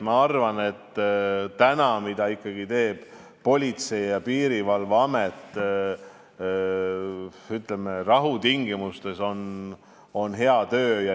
Ma arvan, et see, mida teeb Politsei- ja Piirivalveamet rahutingimustes, on hea töö.